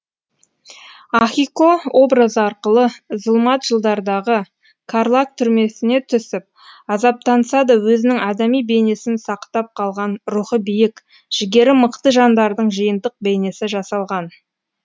ахико образы арқылы зұлмат жылдардағы карлаг түрмесіне түсіп азаптанса да өзінің адами бейнесін сақтап қалған рухы биік жігері мықты жандардың жиынтық бейнесі жасалған